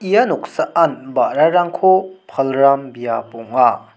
ia noksaan ba·rarangko palram biap ong·a.